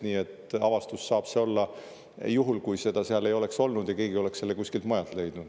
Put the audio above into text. Nii et avastus saaks see olla juhul, kui seda seal ei oleks olnud ja keegi oleks selle kuskilt mujalt leidnud.